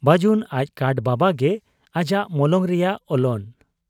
ᱵᱟᱹᱡᱩᱱ ᱟᱡ ᱠᱟᱴ ᱵᱟᱵᱟᱜ ᱜᱮ ᱟᱡᱟᱜ ᱢᱚᱞᱚᱝ ᱨᱮᱭᱟᱜ ᱚᱞᱚᱱ ᱾